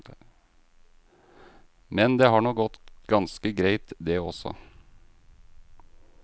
Men det har nå gått ganske greit, det også.